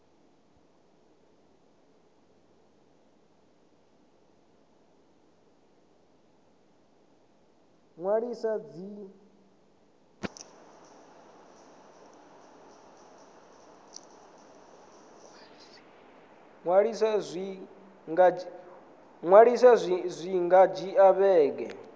ṅwalisa zwi nga dzhia vhege